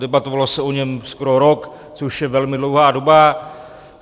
Debatovalo se o něm skoro rok, což je velmi dlouhá doba.